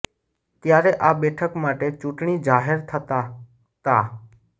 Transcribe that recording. ત્યારે આ બેઠક માટે ચૂંટણી જાહેર થતા તા